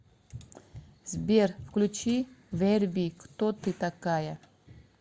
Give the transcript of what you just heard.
сбер включи верби кто ты такая